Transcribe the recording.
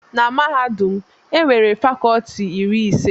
Na mahadum m, e nwere fakọlti iri ise.